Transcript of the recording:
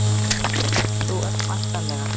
Þú ert væntanlega